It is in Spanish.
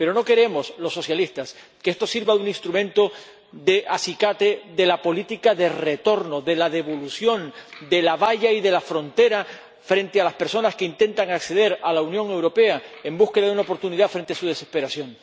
Pero no queremos los socialistas que esto sirva de instrumento de acicate de la política de retorno, de la devolución, de la valla y de la frontera, frente a las personas que intentan acceder a la Unión Europea en busca de una oportunidad frente su desesperación.